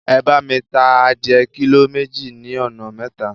Ẹ bá mi ta adìẹ kílò méjì ní ọ̀nà mẹ́ta.